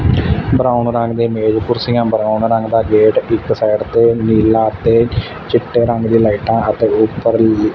brown ਰੰਗ ਦੇ ਮੇਜ ਕੁਰਸੀਆਂ ਬਰਾਊਨ ਰੰਗ ਦਾ ਗੇਟ ਇੱਕ ਸਾਈਡ ਤੇ ਨੀਲਾ ਅਤੇ ਚਿੱਟੇ ਰੰਗ ਦੀ ਲਾਈਟਾਂ ਅਤੇ ਉੱਪਰ ਨੀਲੇ--